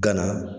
Gana